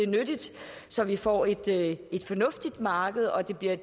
nyttigt så vi får et fornuftigt marked og det bliver